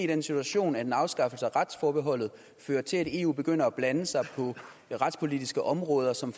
den situation at en afskaffelse af retsforbeholdet fører til at eu begynder at blande sig på retspolitiske områder som